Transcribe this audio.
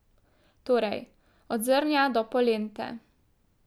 Torej, od zrnja do polente.